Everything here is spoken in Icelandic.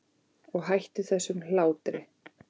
Og hættu þessum hlátri.